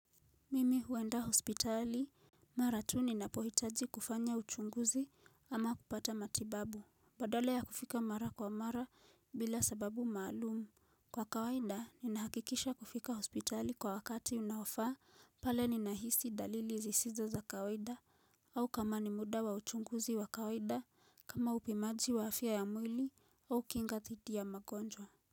Mimi huenda hospitali Mara tu ninapo hitaji kufanya uchunguzi ama kupata matibabu Badala ya kufika mara kwa mara bila sababu maalumu Kwa kawaida ni nahakikisha kufika hospitali kwa wakati unaofaa pale ni nahisi dalili zisizo za kawaida au kama ni muda wa uchunguzi wa kawaida kama upimaji wa afya ya mwili au kinga dhidi ya magonjwa.